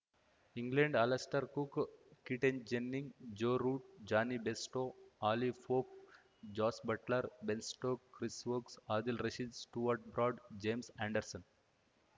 England Alastair Cook Keaton Jennings Joe Root Jonny Bairstow Oliver Pope Jos Buttler Ben Stokes Chris Woakes Adil Rashid Stuart Broad James Anderson